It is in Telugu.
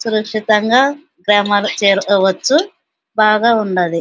సురక్షితంగా గ్రామాలకు చేరుకోవచ్చు. బాగా ఉన్నది.